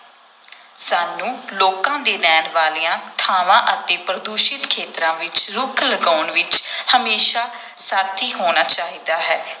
ਸਾਨੂੰ ਲੋਕਾਂ ਦੇ ਰਹਿਣ ਵਾਲੀਆਂ ਥਾਵਾਂ ਅਤੇ ਪ੍ਰਦੂਸ਼ਿਤ ਖੇਤਰਾਂ ਵਿਚ ਰੁੱਖ ਲਗਾਉਣ ਵਿਚ ਹਮੇਸ਼ਾਂ ਸਾਥੀ ਹੋਣਾ ਚਾਹੀਦਾ ਹੈ।